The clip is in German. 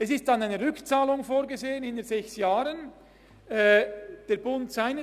Es ist eine Rückzahlung innert sechs Jahren vorgesehen.